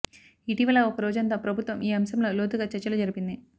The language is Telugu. ఇటీవల ఒక రోజంతా ప్రభుత్వం ఈ అంశంలో లోతుగా చర్చలు జరిపింది